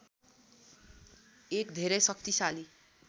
एक धेरै शक्तिशाली